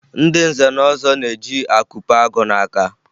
Ndị nze na ọzọ na-eji akụpe agụ n'aka